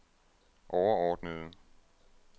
overordnede